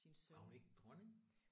Var hun ikke dronning?